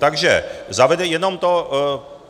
Takže zavede jenom to...